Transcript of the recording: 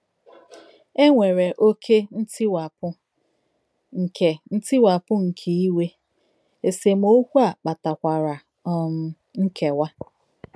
È nwèrè “òké ntìwàpù nke ntìwàpù nke ìwè,” èsèmọ̀kwè à kpàtàkwàrà um nkèwà.